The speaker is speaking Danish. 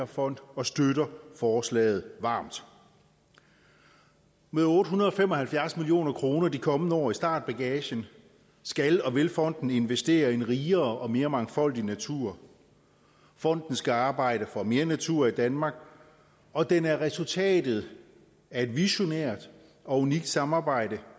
fond og støtter forslaget varmt med otte hundrede og fem og halvfjerds million kroner de kommende år i startbagagen skal og vil fonden investere i en rigere og mere mangfoldig natur fonden skal arbejde for mere natur i danmark og den er resultatet af et visionært og unikt samarbejde